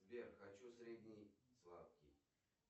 сбер хочу средний сладкий